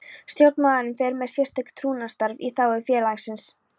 Stjórnarmaður fer með sérstakt trúnaðarstarf í þágu félagsins.